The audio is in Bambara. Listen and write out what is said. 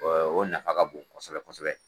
O nafa ka bon kosɛbɛ kosɛbɛ.